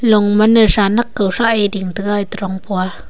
long man a sah nak kaw sah a ding tega etoh dong pua.